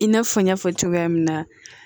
I n'a fɔ n y'a fɔ cogoya min na